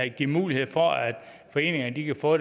give mulighed for at foreningerne kan få